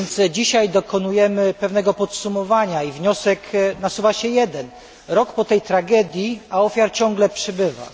Dzisiaj więc dokonujemy pewnego podsumowania i wniosek nasuwa się jeden minął rok od tej tragedii, a ofiar ciągle przybywa.